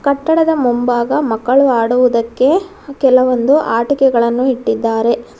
ಕಟ್ಟಡದ ಮುಂಭಾಗ ಮಕ್ಕಳು ಆಡುವುದಕ್ಕೆ ಕೆಲವೊಂದು ಆಟಿಕೆಗಳನ್ನು ಇಟ್ಟಿದ್ದಾರೆ.